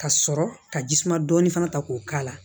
Ka sɔrɔ ka jisuma dɔɔnin fana ta k'o k'a la